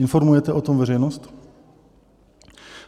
Informujete o tom veřejnost?